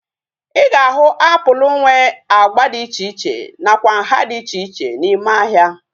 Ị ga-ahu apụl nwe agba dị iche iche nakwa nhá dị iche iche n'ime ahịa